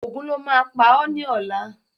Ògún lo má á pá ọ ni ọ̀la